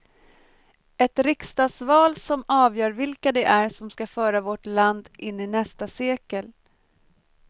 Ett riksdagsval som avgör vilka det är som ska föra vårt land in i nästa sekel.